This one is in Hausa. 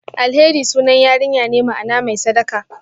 Alheri sunan yarinya ne, ma'ana "mai sadaka".